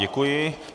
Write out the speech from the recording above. Děkuji.